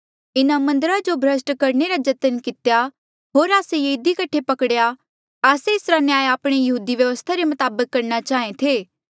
इन्हें मन्दरा जो भ्रस्ट करणे रा जतन कितेया होर आस्से ये इधी कठे पकड़ेया आस्से एसरा न्याय आपणी यहूदी व्यवस्था रे मताबक करणा चाहें थे